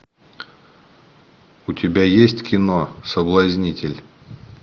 у тебя есть кино соблазнитель